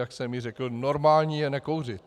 Jak jsem již řekl, normální je nekouřit!